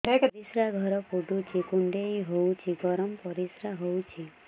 ପରିସ୍ରା ଘର ପୁଡୁଚି କୁଣ୍ଡେଇ ହଉଚି ଗରମ ପରିସ୍ରା ହଉଚି